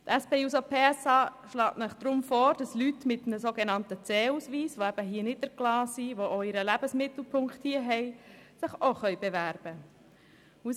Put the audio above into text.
Wir schlagen Ihnen deshalb vor, dass sich Leute mit einem C-Ausweis, welche hier niedergelassen sind und auch ihren Lebensmittelpunkt hier haben, auch bewerben können.